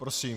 Prosím.